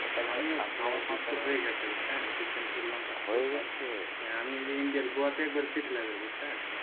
বুঝছেন recent করলাম হ্যাঁ আমি ওই যে ইন্ডিয়ার গোয়াতে একবারে settle হয়ে যাবো বুঝছেন?